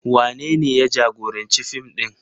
Wanene ya jagoranci fim ɗin?